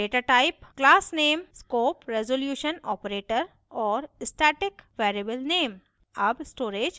datatype classname scope resolution operator और static variable name